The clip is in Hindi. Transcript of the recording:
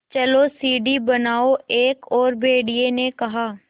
चलो सीढ़ी बनाओ एक और भेड़िए ने कहा